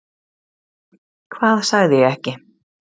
Hvað sagði ég ekki?